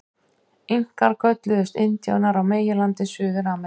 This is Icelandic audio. Inkar kölluðust indíánar á meginlandi Suður-Ameríku.